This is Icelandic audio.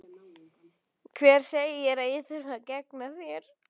Hver segir að ég þurfi að gegna þér?